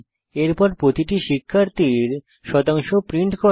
এরপর প্রতিটি শিক্ষার্থীর শতাংশ প্রিন্ট করা